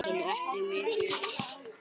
Svo sem ekki mikið.